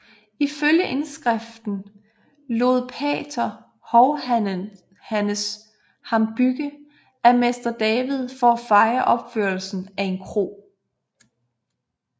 Ifølge indskriften lod pater Hovhannes ham bygge af mester David for at fejre opførelsen af en kro